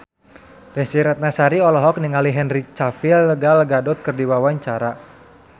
Desy Ratnasari olohok ningali Henry Cavill Gal Gadot keur diwawancara